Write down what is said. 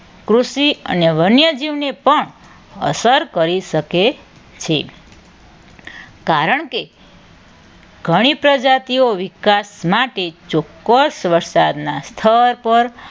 કૃષિ અને વન્યજીવની પણ અસર કરી શકે છે. કારણ કે ઘણી પ્રજાતિઓ વિકાસ માટે ચોક્કસ વરસાદના સ્થળ પર